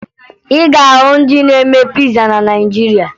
Ị ga-ahụ ndị na-eme piza na Naịjirịa